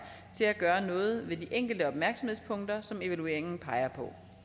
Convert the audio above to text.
til at gøre noget ved de enkelte opmærksomhedspunkter som evalueringen peger på